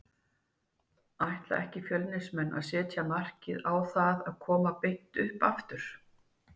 Ætla ekki Fjölnismenn að setja markið á það að koma beint upp aftur?